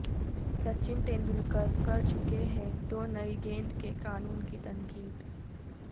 سچن تیندولکر کر چکے ہیں دو نئی گیند کے قانون کی تنقید